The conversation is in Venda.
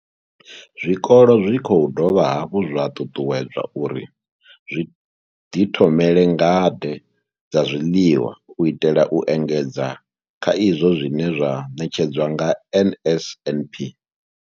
Zwikolo zwi khou dovha hafhu zwa ṱuṱuwedzwa uri zwi ḓi thomele ngade dza zwiḽiwa u itela u engedza kha izwo zwine zwa ṋetshedzwa nga NSNP.